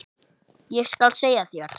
Ég skal segja þér